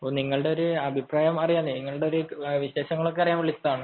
അപ്പൊ നിങ്ങളുടെ ഒരു അഭിപ്രായം അറിയാൻ നിങ്ങളുടെ ഒരു വിശേഷം അറിയാൻ വിളിച്ചതാണ്